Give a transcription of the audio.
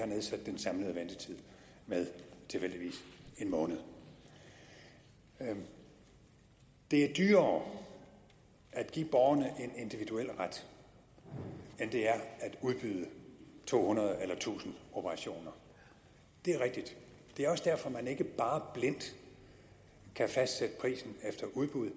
nedsat den samlede ventetid med tilfældigvis en måned det er dyrere at give borgerne en individuel ret end det er at udbyde to hundrede eller tusind operationer det er rigtigt det er også derfor at man ikke bare blindt kan fastsætte prisen efter udbud